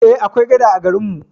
Eh, akwai gada a garin mu.